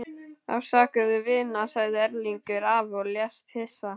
Afsakaðu, vina- sagði Erlingur afi og lést hissa.